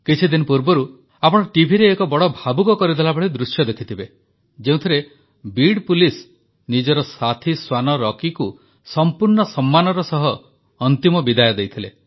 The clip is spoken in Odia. କିଛିଦିନ ପୂର୍ବରୁ ହିଁ ଆପଣ ଟିଭିରେ ଏକ ବଡ଼ ଭାବୁକ କରିଦେଲା ଭଳି ଦୃଶ୍ୟ ଦେଖିଥିବେ ଯେଉଁଥିରେ ବିଡ ପୁଲିସ୍ ନିଜର ସାଥୀ ଶ୍ୱାନ ରକିକୁ ସମ୍ପୂର୍ଣ୍ଣ ସମ୍ମାନର ସହ ଅନ୍ତିମ ବିଦାୟ ଦେଇଥିଲେ